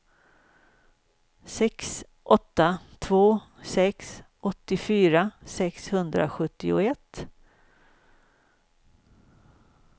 sex åtta två sex åttiofyra sexhundrasjuttioett